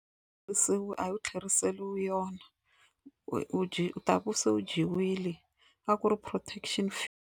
a wu tlheriseriwi yona u dye u ta va se u dyiwile a ku ri protection .